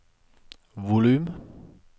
volum